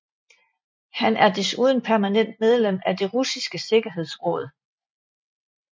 Han er desuden permanent medlem af det russiske sikkerhedsråd